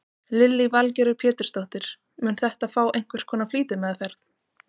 Lillý Valgerður Pétursdóttir: Mun þetta fá einhvers konar flýtimeðferð?